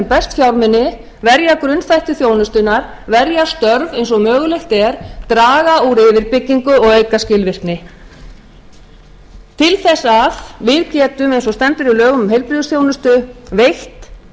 best fjármuni verja grunnþætti þjónustunnar verja störf eins og mögulegt er draga úr uppbyggingu og auka skilvirkni til þess að við getum eins og stendur í lögunum um heilbrigðisþjónustu veitt